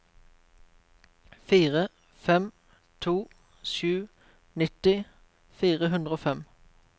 fire fem to sju nitti fire hundre og fem